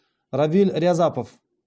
равиль рязапов